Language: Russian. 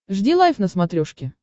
жди лайв на смотрешке